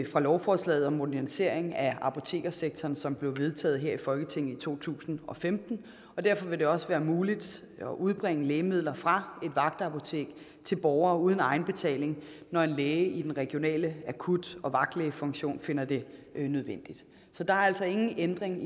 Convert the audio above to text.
lovforslaget om modernisering af apotekersektoren som blev vedtaget her i folketinget i to tusind og femten og derfor vil det også være muligt at udbringe lægemidler fra et vagtapotek til borgere uden egenbetaling når en læge i den regionale akut og vagtlægefunktion finder det nødvendigt så der er altså ingen ændring